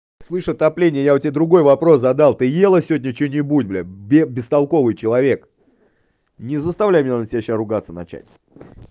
слышь отопления я у тебя другой вопрос задал ты ела сегодня что-нибудь блядь бестолковый человек не заставляй меня на тебя сейчас ругаться начать